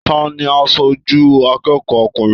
Taní aṣoju akẹ́kọ̀ọ́ ọkùnrin?